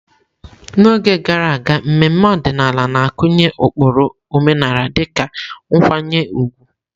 N'oge gara aga, mmemme ọdịnala na-akụnye ụkpụrụ omenala dịka nkwanye ùgwù.